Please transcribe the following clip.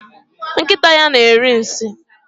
Nkịta ya na-eri nsị.